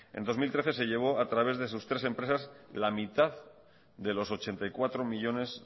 en dos mil trece se llevó a través de sus tres empresas la mitad de los ochenta y cuatro millónes